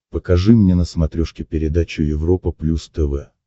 покажи мне на смотрешке передачу европа плюс тв